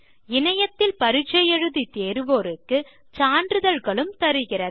இணையத்தில் பரிட்சை எழுதி தேர்வோருக்கு சான்றிதழ்களும் தருகிறது